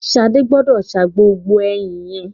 Ṣadé gbọ́dọ̀ sa gbogbo ẹyìn yẹn.